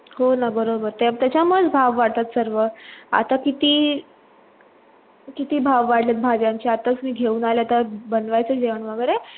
हो न बरोबर त्याच्यामुडे भाव वाढतात. सर्व आता किती भाव वाडले भाज्यांच्या आतास मी घेऊन आली तर बनवायचंय आहे जेवण वगेरे